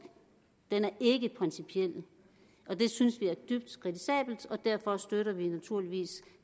den er ikke principiel det synes vi er dybt kritisabelt og derfor støtter vi naturligvis